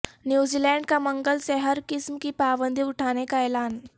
New Zealand کا منگل سے ہر قسم کی پابندی اٹھانے کا اعلان